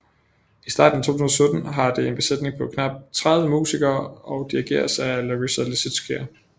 I starten af 2017 har det en besætning på knap 30 musikere og dirigeres af Larisa Lisitskaya